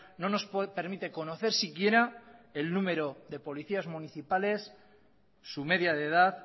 no nos permite conocer siquiera el número de policías municipales su media de edad